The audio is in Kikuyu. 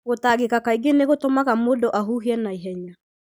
Gũtangĩka kaingĩ nĩ gũtũmaga mũndũ ahuhie na ihenya,